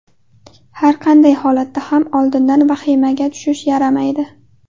Har qanday holatda ham oldindan vahimaga tushish yaramaydi.